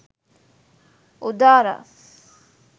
udara